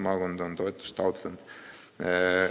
Mitu maakonda on toetust taotlenud?